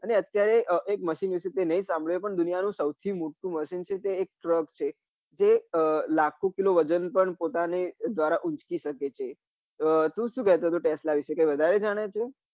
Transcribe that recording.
અને અત્યારે એક machine વિશે તે નાઈ સાભળ્યું હોય પણ દુનિયા નું સૌથી મોટું machine છે એ truck છે એ લાખો કિલો વજન પણ પોતાના દ્વારા ઉચકી સકે છે. આ તું શું કેતો હતો tesla વિશે કઈ વધરે જાને છે?